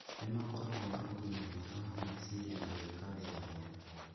nĩ makoragwo na ũgima mwega wa meciria na gwĩka wĩra mwega.